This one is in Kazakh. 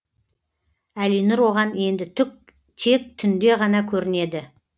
әлинұр оған енді тек түнде ғана көрінеді